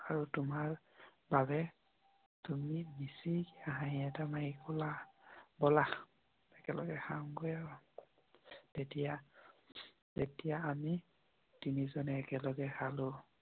আৰু তোমাৰ বাবে তুমি বলা একেলগে খাও। তেতিয়া আমি তিনিজনে একেলগে খেল।